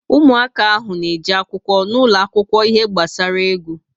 Ụmụaka ahụ na eje akwụkwọ n'ulo akwụkwọ ihe gbasara égwu